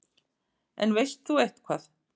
En veist þú eitthvað?